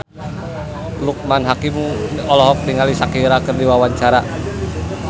Loekman Hakim olohok ningali Shakira keur diwawancara